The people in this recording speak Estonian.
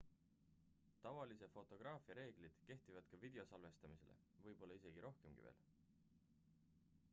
tavalise fotograafia reeglid kehtivad ka video salvestamisele võib-olla isegi rohkemki veel